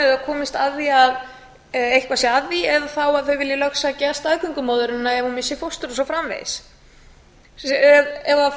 eða komist að því að eitthvað sé að því eða þá að þau vilji láta sækja staðgöngumóðurina ef hún missir fóstrið og svo framvegis ef parið